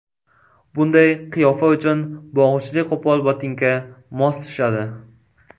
Bunday qiyofa uchun bog‘ichli qo‘pol botinka mos tushadi.